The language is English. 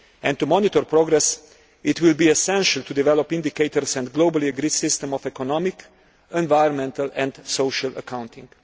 To monitor progress it will be essential to develop indicators and a globally agreed system of economic, environmental and social accounting.